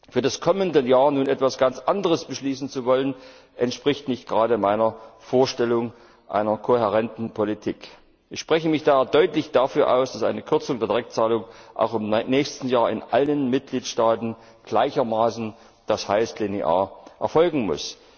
Für das kommende Jahr nun etwas ganz anderes beschließen zu wollen, entspricht nicht gerade meiner Vorstellung von einer kohärenten Politik. Ich spreche mich daher deutlich dafür aus, dass eine Kürzung der Direktzahlungen auch im nächsten Jahr in allen Mitgliedstaaten gleichermaßen, das heißt linear, erfolgen muss.